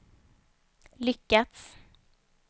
lyckats